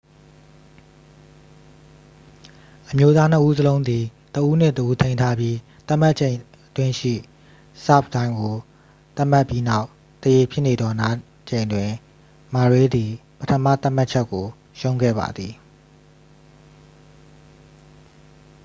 """အမျိုးသားနှစ်ဦးစလုံးသည် တစ်ဦးနှင့်တစ်ဦးထိန်းထားပြီး သတ်မှတ်ချက်အတွင်းရှိ ဆာ့ဗ်တိုင်းကို သတ်မှတ်ပြီးနောက် သရေဖြစ်နေသောနားချိန်တွင် murray သည် ပထမသတ်မှတ်ချက်ကို ရှုံးခဲ့ပါသည်။""